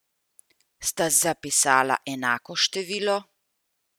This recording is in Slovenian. Sta zapisala enako število?